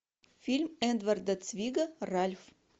фильм эдварда цвига ральф